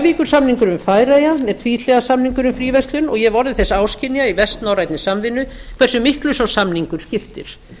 hoyvíkursamningurinn við færeyjar er tvíhliða samningur um fríverslun og ég hef orðið þess áskynja í vestnorrænni samvinnu hversu miklu sá samningur skiptir